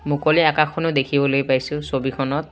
মুকলি আকাশখনো দেখিবলৈ পাইছোঁ ছবিখনত।